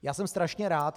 Já jsem strašně rád.